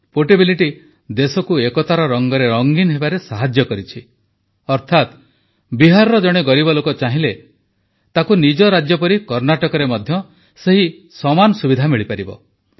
portability ଦେଶକୁ ଏକତାର ରଂଗରେ ରଂଗୀନ ହେବାରେ ସାହାଯ୍ୟ କରିଛି ଅର୍ଥାତ୍ ବିହାରର ଜଣେ ଗରିବ ଲୋକ ଚାହିଁଲେ ତାକୁ ନିଜ ରାଜ୍ୟ ପରି କର୍ଣ୍ଣାଟକରେ ମଧ୍ୟ ସେହି ସମାନ ସୁବିଧା ମିଳିପାରିବ